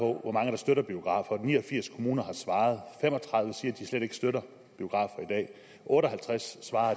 hvor mange der støtter biografer ni og firs kommuner har svaret fem og tredive siger at de slet ikke støtter biografer i dag otte og halvtreds svarer at